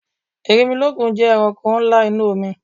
Erinmilọ́kun jẹ́ ẹranko ńlá inú omi